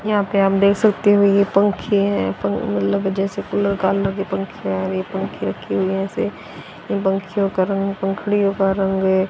यहां पे आप देख सकते हो ये पंखे हैं पं उन मतलब जैसे कुलर कलर के पंखे हैं और ये पंखे रखे हुए हैं ऐसे इन पंखींयों का रंग पंखुड़ियां का रंग --